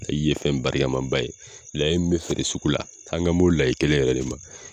Layi ye fɛn barikamaba ye layi min bɛ feere sugu la an kan b'o layi kelen yɛrɛ de ma